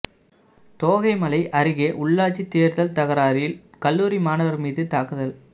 தோகைமலை அருகே உள்ளாட்சி தேர்தல் தகராறில் கல்லூரி மாணவர் மீது தாக்குதல்